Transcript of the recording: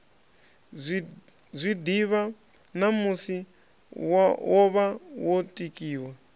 zwiḓivha ṋamusi wovha wo tikiwa